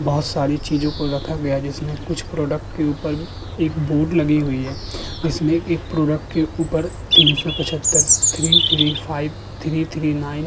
बहोत सारी चीजों को रखा गया जिसमें कुछ प्रोडक्ट के ऊपर एक बोर्ड लगी हुई है जिसमें एक प्रोडक्ट के ऊपर तीन सौ पचहत्तर three three five three three nine --